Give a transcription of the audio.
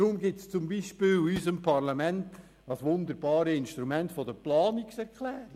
Deshalb gibt es zum Beispiel in unserem Parlament das wunderbare Instrument der Planungserklärung.